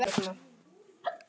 Ólafur nefnir þetta